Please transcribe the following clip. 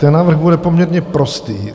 Ten návrh bude poměrně prostý.